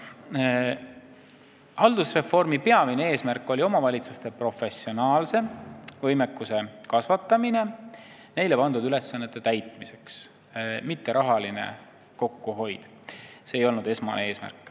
Haldusreformi peamine eesmärk oli omavalitsuste professionaalsem võimekuse kasvatamine neile pandud ülesannete täitmiseks, mitte rahaline kokkuhoid – see ei olnud esmane eesmärk.